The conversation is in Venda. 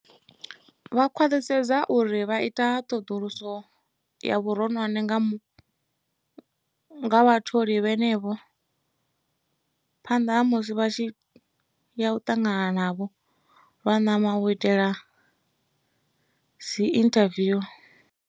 Vha khwaṱhisedze uri vha ita ṱhoḓuluso ya vhuronwane nga ha vhatholi vhenevho phanḓa ha musi vha tshi ya u ṱangana navho lwa ṋama u itela dziinthaviu.